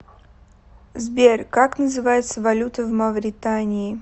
сбер как называется валюта в мавритании